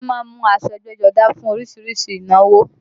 Wọ́n má ń mu aṣọ ẹgbẹ́jọdá fún orísìírísìí ìnáwó